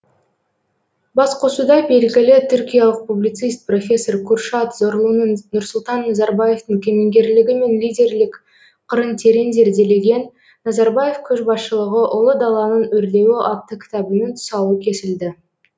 басқосуда белгілі түркиялық публицист профессор куршад зорлуның нұрсұлтан назарбаевтың кемеңгерлігі мен лидерлік қырын терең зерделеген назарбаев көшбасшылығы ұлы даланың өрлеуі атты кітабының тұсауы кесілді